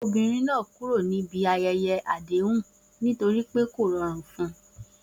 Obìnrin náà kúrò níbi ayẹyẹ àdéhùn nítorí pé kò rọrùn fún un.